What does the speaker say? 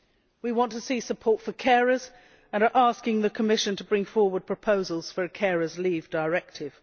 We want to see support for carers and are asking the Commission to bring forward proposals for a carers' leave directive.